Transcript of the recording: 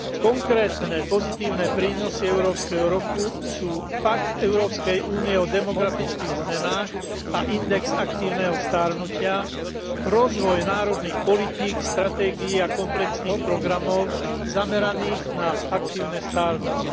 Konkrétne pozitívne prínosy európskeho roku sú pakt EÚ o demografických zmenách a index aktívneho starnutia, rozvoj národných politík, stratégií a komplexných programov zameraných na aktívne starnutie.